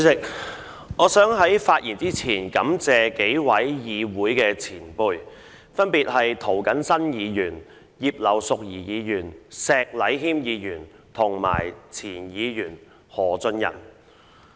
主席，我想在進一步發言前感謝數位議會的前輩，分別是涂謹申議員、葉劉淑儀議員、石禮謙議員及前議員何俊仁。